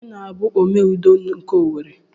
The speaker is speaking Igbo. Ọnye na-bụ Ome Udo nke Owerri?